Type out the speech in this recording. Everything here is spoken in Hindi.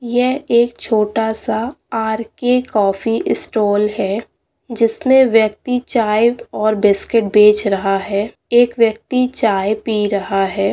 यह एक छोटा-सा आर.के. कॉफी स्टॉल है जिसमें व्यक्ति चाय और बिस्किट बेच रहा है एक व्यक्ति चाय पी रहा है।